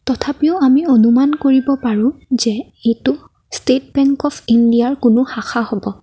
তথাপিও আমি অনুমান কৰিব পাৰো যে এইটো ষ্টেট বেংক অফ ইণ্ডিয়াৰ কোনো শাখা হব।